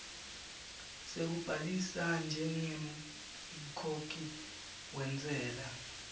sekubhalisa njengemkhokhi wentsela